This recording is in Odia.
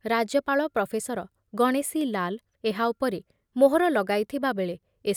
ରାଜ୍ୟପାଳ ପ୍ରଫେସର ଗଣେଶୀ ଲାଲ ଏହା ଉପରେ ମୋହର ଲଗାଇଥିବାବେଳେ ଏ